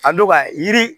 A don ka yiri